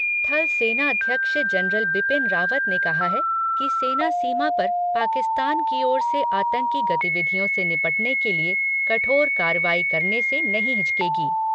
थल सेनाध्यक्ष जनरल बिपिन रावत ने कहा है कि सेना सीमा पर पाकिस्तान की ओर से आतंकी गतिविधियों से निपटने के लिए कठोर कार्रवाई करने से नहीं हिचकेगी।